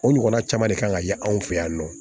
O ɲɔgɔnna caman de kan ka ye an fɛ yan nɔ